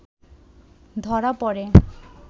ধরা প’ড়ে